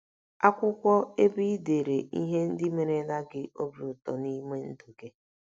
Akwụkwọ ebe i dere ihe ndị merela gị obi ụtọ n’ime ndụ gị